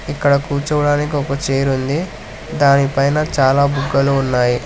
ఇక్కడ కూర్చోవడానికి ఒక చైర్ ఉంది దానిపైన చాలా బుగ్గలు ఉన్నాయి.